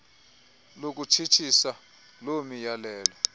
lokutshitshisa loo miyalelo